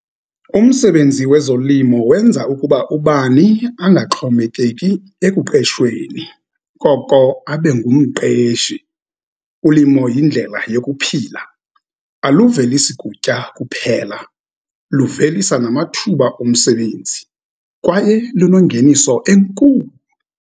Umsebenzi wezolimo wenza ukuba ubani angaxhomekeki ekuqeshweni, koko abe ngumqeshi. Ulimo yindlela yokuphila, aluvelisi kutya kuphela, livelisa namathuba omsebenzi, kwaye lunongeniso enkulu.